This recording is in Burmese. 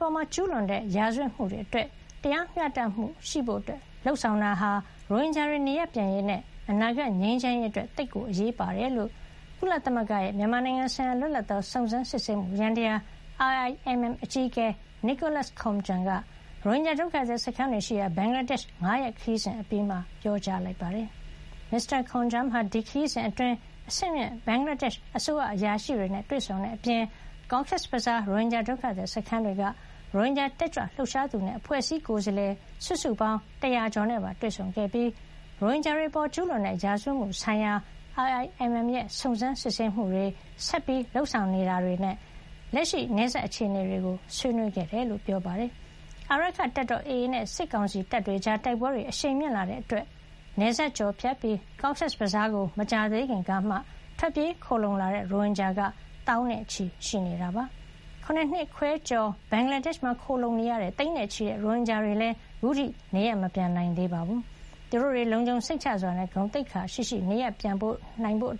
ပေါ်ကျူးလွန်တဲ့ ရာဇဝတ်မှုတွေ အတွက် တရားမျှတမှုရှိဖို့လုပ်ဆောင်တာဟာ ရိုဟင်ဂျာတွေ နေရပ်ပြန်ရေးနဲ့ အနာဂတ်ငြိမ်းချမ်းရေး အတွက် သိပ်အရေးပါတယ်လို့ ကုလသမဂ္ဂရဲ့ မြန်မာနိုင်ငံဆိုင်ရာ လွတ်လပ်သော စုံစမ်းစစ်ဆေးမှု ယန္တရား IIMM အကြီးအကဲ Nicholas Koumjian ရိုဟင်ဂျာ ဒုက္ခသည် စခန်းတွေရှိရာ ဘင်္ဂလာဒေ့ရှ် ၅ ရက်ခရီးစဉ် အပြီးမှာ ပြောကြားလိုက်ပါတယ်။ မစ္စတာ Koumjian ဟာ ဒီခရီးစဉ်အတွင်း အဆင့်မြင့် ဘင်္ဂလားဒေ့ရှ် အစိုးရအရာရှိတွေနဲ့ တွေ့ဆုံခဲ့တဲ့အပြင် Cox’s Bazar ရိုဟင်ဂျာ ဒုက္ခသည် စခန်းတွေက ရိုဟင်ဂျာတက်ကြွ လှုပ်ရှားသူတွေနဲ့ အဖွဲ့အစည်းကိုယ်စားလှယ် စုစုပေါင်း ၁၀၀ ကျော်နဲ့ပါ တွေ့ဆုံခဲ့ပြီး ရိုဟင်ဂျာတွေ အပေါ်ကျူးလွန်တဲ့ ရာဇဝတ်မှုဆိုင်ရာ IIMM ရဲ့ စုံစမ်းစစ်ဆေးမှုတွေ၊ ဆက်လက်လုပ်ဆောင်နေမှုတွေ နဲ့ လက်ရှိနယ်စပ် အခြေနေတွေကို ဆွေးနွေးခဲ့တာပါ။ အာရက္ခတပ်တော် AA နဲ့ စစ်ကောင်စီတပ်တွေကြား တိုက်ပွဲတွေ အရှိန်မြင့်လာတာကြောင့် နယ်စပ်ကျော်ဖြတ်ပြီး Cox’s Bazar ကို မကြာသေးခင်ကမှ ထွက်ပြေးခိုလှုံလာတဲ့ ရိုဟင်ဂျာက သောင်းနဲ့ချီ ရှိနေတာဖြစ်ပါတယ်။ ၇ နှစ်ခွဲကျော် ဘင်္ဂလားဒေ့ရှ်မှာ ခိုလှုံနေတဲ့ သိန်းနဲ့ချီတဲ့ ရိုဟင်ဂျာတွေလည်း ခုထိ နေရပ်မပြန်နိုင်သေးပါဘူး။ သူတို့တွေ လုံခြုံစိတ်ချစွာနဲ့ ဂုဏ်သိက္ခာရှိရှိ နေရပ်ပြန်နိုင်ဖို့